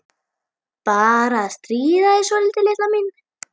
Bara að stríða þér svolítið, litla mín.